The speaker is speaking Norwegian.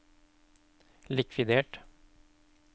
likvidert